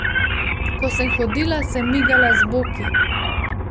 Ko sem hodila, sem migala z boki.